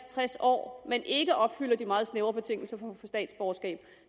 tres år men ikke opfylder de meget snævre betingelser for statsborgerskab